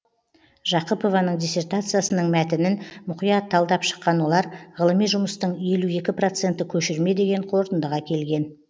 жақыпованың диссертациясының мәтінін мұқият талдап шыққан олар ғылыми жұмыстың елу екі проценті көшірме деген қорытындыға келген